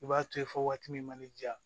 I b'a to yen fo waati min ma ne ja